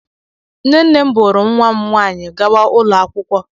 Nne nne m buuru nwa m nwaanyị gawa ụlọ akwụkwọ.